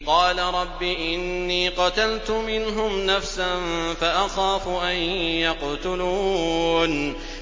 قَالَ رَبِّ إِنِّي قَتَلْتُ مِنْهُمْ نَفْسًا فَأَخَافُ أَن يَقْتُلُونِ